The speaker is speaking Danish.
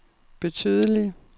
betydelige